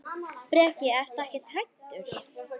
Breki: Ertu ekkert hræddur?